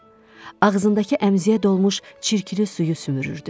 Ağzındakı əmziyə dolmuş çirkli suyu sümürürdü.